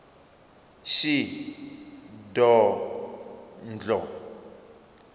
shidondho